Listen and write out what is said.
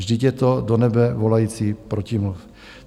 Vždyť je to do nebe volající protimluv.